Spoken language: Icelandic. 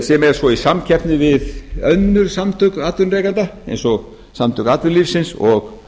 sem er svo í samkeppni við önnur samtök atvinnurekenda eins og samtök atvinnulífsins og